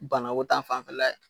Banako ta fanfɛla ye